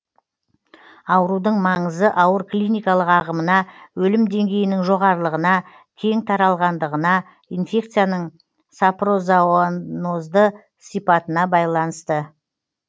аурудың маңызы ауыр клиникалық ағымына өлім деңгейінің жоғарылығына кең таралғандығына инфекцияның сапрозоонозды сипатына байланысты